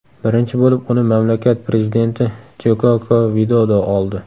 Birinchi bo‘lib uni mamlakat prezidenti Jkoko Vidodo oldi.